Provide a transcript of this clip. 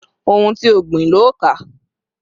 Ohun ti o gbìn lo ká